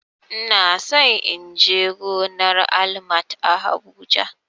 Ina so in je gonar Almat a habuja